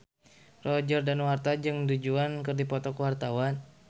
Roger Danuarta jeung Du Juan keur dipoto ku wartawan